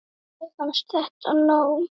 Mér fannst þetta nóg.